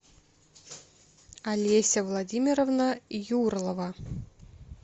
олеся владимировна юрлова